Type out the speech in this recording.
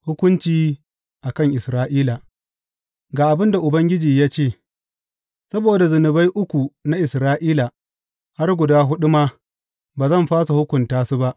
Hukunci a kan Isra’ila Ga abin da Ubangiji ya ce, Saboda zunubai uku na Isra’ila, har guda huɗu ma, ba zan fasa hukunta su ba.